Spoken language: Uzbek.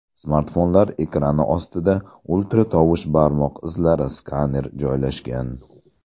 Smartfonlar ekrani ostida ultratovush barmoq izlari skaner joylashgan.